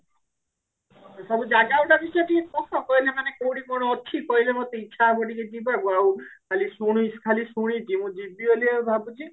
ଖାଲି ଜାଗା ଗୁଡାକ ବି ସେଠି ମାନେ କୋଉଠି କଣ ଅଛି କହିଲେ ମତେ ଇଛା ହବ ଟିକେ ଯିବାକୁ ଆଉ ଖାଲି ଶୁଣି ଖାଲି ଶୁଣିଛି ଯିବି ବୋଲି ଭାବୁଛି